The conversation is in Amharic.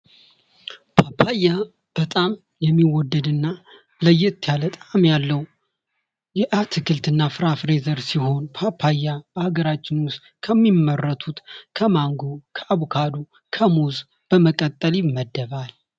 ፓፓያ በጣም የሚወደድ እና ለየት ያለ ጣዕም ያለው የአትክልት እና ፍራፍሬ ዘር ሲሆን ፓፓያ ከሀገራችን ውስጥ ከሚመረቱት ከማንጎ፣ አቮካዶ፣ ከሙዝ በመቀጠል ይመደባል።